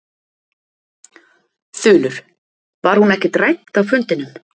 Þulur: Var hún ekkert rædd á fundinum?